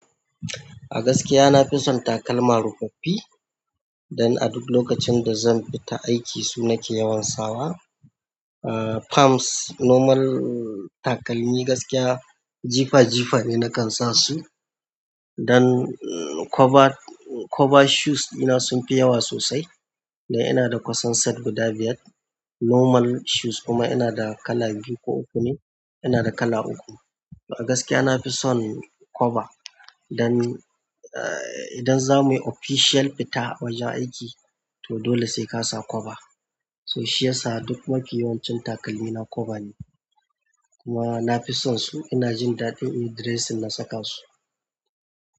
A gaskiya, na fi son takalma rufaffi. Dan a duk lokacin da zan fita aiki su nake yawan sawa. Ahh, palmps normal takalmi gaskiya jifa jifa ne, na kan sa su. Dan cover, cover shoes ɗina sun fi yawa sosai. Dan ina da kusan set guda biyar. Normal shoes kuma ina da kala biyu ko uku ne. Ina da kala uku. A gaskiya na fi son cover. Dan idan za mu yi official fita wajen aiki, to dole sai ka sa cover. To shiyasa duk mafi yawancin takalmina cover ne, kuma na fi son su. Ina jin daɗi in yi dressing na saka su.